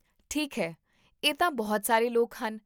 ਠੀਕ ਹੈ, ਇਹ ਤਾਂ ਬਹੁਤ ਸਾਰੇ ਲੋਕ ਹਨ